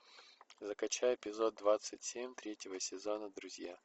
закачай эпизод двадцать семь третьего сезона друзья